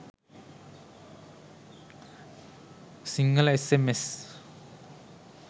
sinhala sms